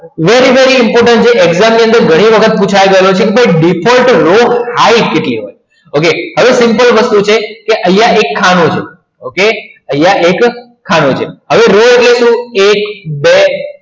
very very important છે exam ની અંદર કેટલી વખત પુછાય છે ઘણી વખત પૂછાઈ ગયેલું છે by default રો height કેટલી હોય okay તો હવે simple વસ્તુ છે કે અહીંયા એક ખાનું છે ઓકે અહીંયા એક ખાનું છે હવે રો એટલે શું એક બે